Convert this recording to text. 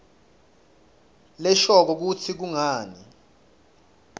leshoko kutsi kungani